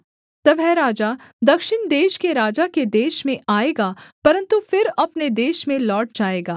तब वह राजा दक्षिण देश के राजा के देश में आएगा परन्तु फिर अपने देश में लौट जाएगा